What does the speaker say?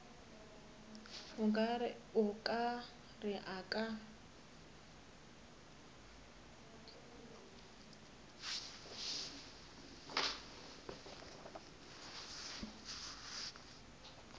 o ka re a ka